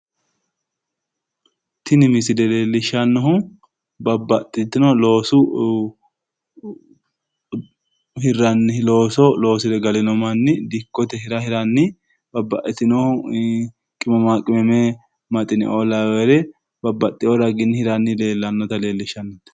Looso loosire galino manni dikkirannona babbaxxino hira hidhanni afamannota leellishanno misileeti